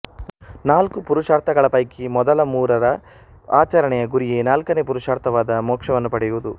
ನಾಲ್ಕು ಪುರುಷಾರ್ಥಗಳ ಪೈಕಿ ಮೊದಲ ಮೂರರ ಆಚರಣೆಯ ಗುರಿಯೆ ನಾಲ್ಕನೆ ಪುರುಷಾರ್ಥವಾದ ಮೋಕ್ಷವನ್ನು ಪಡೆಯುವುದು